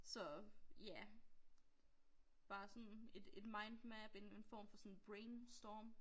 Så ja bare sådan et et mindmap en en form for sådan brain storm